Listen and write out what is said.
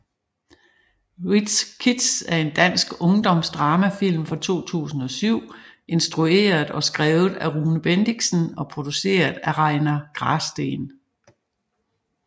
Rich Kids er en dansk ungdomsdramafilm fra 2007 instrueret og skrevet af Rune Bendixen og produceret af Regner Grasten